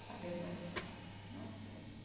Falei, mas não sei.